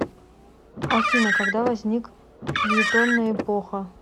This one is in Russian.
афина когда возник фельетонная эпоха